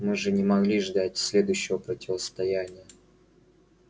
мы же не могли ждать следующего противостояния